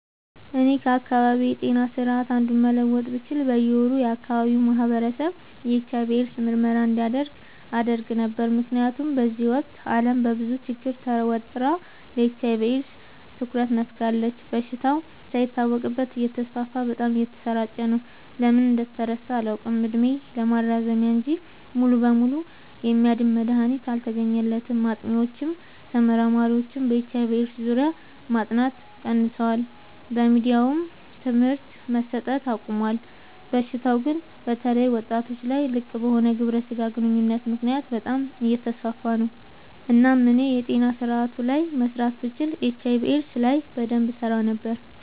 እኔ ከአካባቢዬ ጤና ስርዓት አንዱን መለወጥ ብችል በየ ወሩ የአካባቢው ማህበረሰብ የኤች/አይ/ቪ ኤድስ ምርመራ እንዲያደርግ አደረግ ነበር። ምክንያቱም በዚህ ወቅት አለም በብዙ ችግር ተወጥራ ለኤች/አይ/ቪ ኤድስ ትኩረት ነፋጋለች። በሽታው ሳይታወቅበት እተስፋፋ በጣም እየተሰራጨ ነው። ለምን እንደተረሳ አላውቅ እድሜ ማራዘሚያ እንጂ ሙሉ በሙሉ የሚያድን መድሀኒት አልተገኘለትም ጥኒዎችም ተመራማሪዎችም በኤች/አይ/ቪ ኤድስ ዙሪያ ማጥናት ቀንሰዋል በየሚዲያውም ትምህርት መሰት አቆሞል። በሽታው ግን በተለይ ወጣቶች ላይ ልቅበሆነ ግብረ ስጋ ግንኙነት ምክንያት በጣም አየተስፋፋ ነው። እናም እኔ የጤና ስረአቱ ላይ መስራት ብችል ኤች/አይ/ቪ ኤድስ ላይ በደንብ እሰራ ነበር።